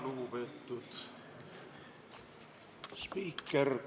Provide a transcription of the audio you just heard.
Lugupeetud spiiker!